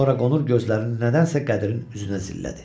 Sonra qonur gözlərini nədənsə Qədirin üzünə zillədi.